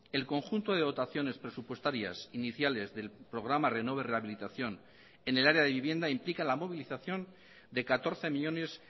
el conjunto de dotaciones presupuestarias iniciales del programa renove rehabilitación en el área de vivienda implica la movilización de catorce millónes